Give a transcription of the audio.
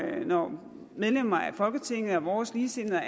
når medlemmer af folketinget og vores ligesindede og